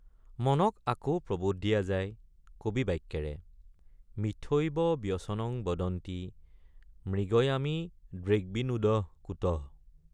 মনক আকৌ প্ৰবোধ দিয়া যায় কবি বাক্যেৰে— মিথ্যৈব ব্যসনং বদন্তি মৃগয়ামী দৃগ্বিনোদঃ কুতঃ।